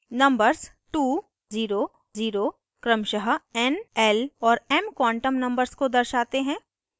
numbers 200 क्रमशः n l और m quantum numbers को दर्शाते हैं